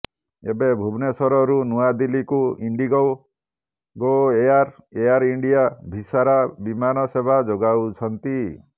ଏବେ ଭୁବନେଶ୍ବରରୁ ନୂଆଦିଲ୍ଲୀକୁ IndiGo Go Air Air India Vistara ବିମାନ ସେବା ଯୋଗାଉଛନ୍ତି